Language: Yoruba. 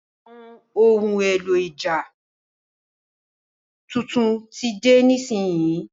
Àwọn ohun èlò ìjà tuntun tí de nísinsìnyí